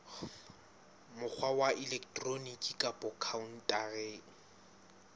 mokgwa wa elektroniki kapa khaontareng